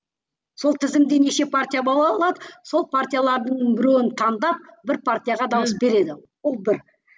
сол тізімде неше партия бола алады сол партиялардың біреуін таңдап бір партияға дауыс береді ол бір